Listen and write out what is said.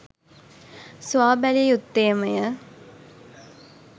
සොයා බැලිය යුත්තේමය.